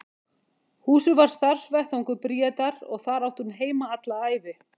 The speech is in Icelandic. Húsið varð starfsvettvangur Bríetar og þar átti hún heima alla ævi.